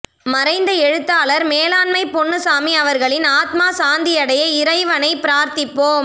மறைந்த எழுத்தாளர் மேலாண்மை பொன்னுச்சாமி அவர்களின் ஆத்மா சாந்தியடைய இறைவனை பிரார்த்திப்போம்